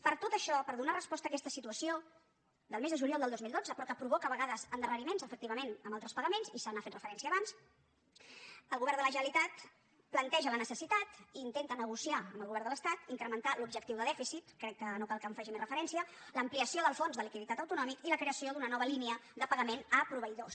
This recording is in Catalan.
per tot això per donar resposta a aquesta situació del mes de juliol del dos mil dotze però que provoca a vegades en·darreriments efectivament en altres pagaments i s’hi ha fet referència abans el govern de la generalitat planteja la necessitat i intenta negociar amb el govern de l’estat incrementar l’objectiu de dèficit crec que no cal que hi faci més referència l’ampliació del fons de liquiditat autonòmic i la creació d’una nova línia de pagament a proveïdors